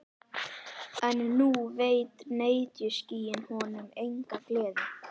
En nú veita netjuskýin honum enga gleði.